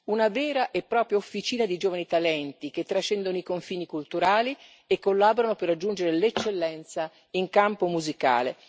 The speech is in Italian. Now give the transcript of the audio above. Una vera e propria officina di giovani talenti che trascendono i confini culturali e collaborano per raggiungere l'eccellenza in campo musicale.